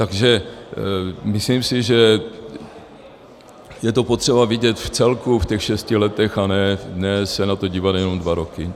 Takže myslím si, že je to potřeba vidět v celku, v těch šesti letech, a ne se na to dívat jenom dva roky.